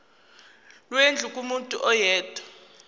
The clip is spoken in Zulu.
lwendlu kumuntu oyedwa